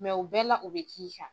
o bɛɛ la u bɛ